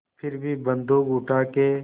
फिर भी बन्दूक उठाके